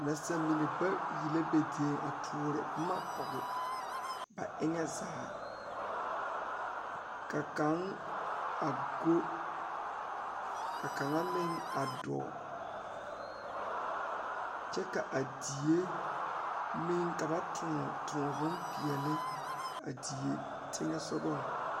Nasaamine la zeŋ die poɔ a pouri ba ŋmene a vaare wagyere kyɛ uri vūūnee a die poɔ kaa zie a kyaane a die.